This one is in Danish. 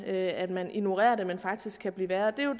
ved at man ignorerer det men som faktisk kan blive værre det er jo